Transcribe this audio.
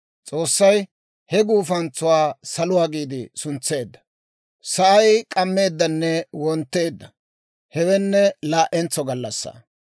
S'oossay he guufantsuwaa «Saluwaa» giide suntseedda. Sa'ay k'ammeeddanne wontteedda; hewenne laa'entso gallassaa.